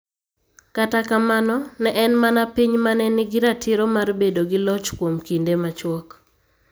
Kata kamano, ne en mana piny ma ne nigi ratiro mar bedo gi loch kuom kinde machuok.